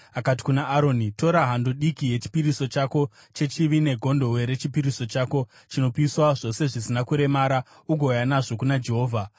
Akati kuna Aroni, “Tora hando diki yechipiriso chako chechivi negondobwe rechipiriso chako chinopiswa zvose zvisina kuremara ugouya nazvo kuna Jehovha.